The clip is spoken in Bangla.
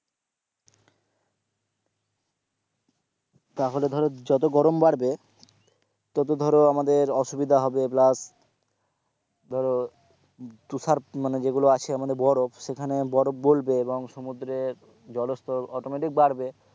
তাহলে ধরো যত গরম বাড়বে ততো ধরো আমাদের অসুবিধা হবে plus ধরো তুষার মানে যেগুলো আসে বরফ সেখানে বরফ গলবে এবং সমুদ্রে জলস্তর automatic বাড়বে,